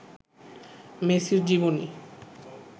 মেসির জীবনী